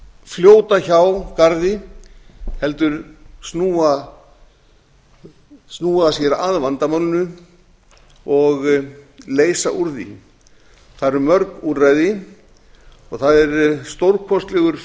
fljóta hjá garði heldur snúa sér að vandamálinu og leysa úr því það eru mörg úrræði það er stórkostlegur